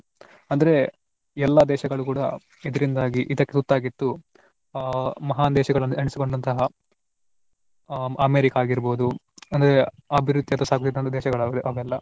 ಅಂದ್ರೆ ಎಲ್ಲಾ ದೇಶಗಳು ಕೂಡಾ ಇದರಿಂದಾಗಿ ಇದಕ್ಕೆ ತುತ್ತಾಗಿದ್ದು ಆ ಮಹಾನ್ ದೇಶಗಳು ಎನಿಸಿಕೊಂಡಂತಹ ಆ ಅಮೇರಿಕಾ ಆಗಿರಬಹುದು ಅಂದ್ರೆ ಅಭಿವೃದ್ಧಿಯತ್ತ ಸಾಗಿದಂತಹ ದೇಶಗಳು ಆಗಿವೆ ಅವೆಲ್ಲಾ.